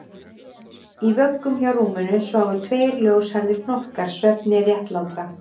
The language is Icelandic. Í vöggum hjá rúminu sváfu tveir ljóshærðir hnokkar svefni réttlátra